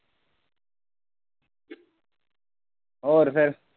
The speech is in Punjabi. ਹੋਰ ਫਿਰ?